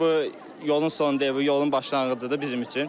Bu yolun sonu deyil, bu yolun başlanğıcıdır bizim üçün.